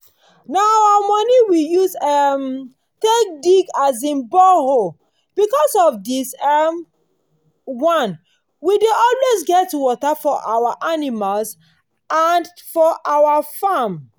na our money we use um take dig um borehole. because of this um one we dey always get water for our animals and for our farm.